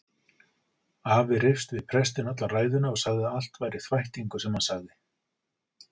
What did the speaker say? Afi reifst við prestinn alla ræðuna og sagði að allt væri þvættingur sem hann sagði.